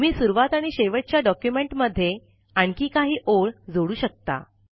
तुम्ही सुरवात आणि शेवटच्या डॉक्युमेन्ट मध्ये आणखी काही ओळ जाडू शकता